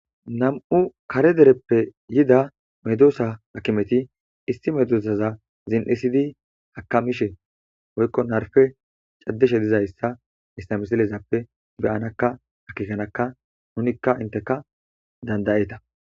Nam'u kare dereope yida medossa hakimeti issi medosta zin'isidi akamishe woyko narpe c'adishe dizaysa haysa misselezappe be'anakka akekanakka nunika inteka danda'eta.